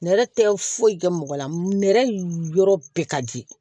Nɛrɛ tɛ foyi kɛ mɔgɔ la nɛrɛ yɔrɔ bɛɛ ka di